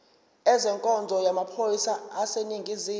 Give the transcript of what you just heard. ezenkonzo yamaphoyisa aseningizimu